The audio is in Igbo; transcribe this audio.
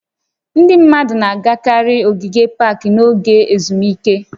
Ndị mmadụ na-agakarị ogige pak n'oge ezumike